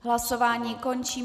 Hlasování končím.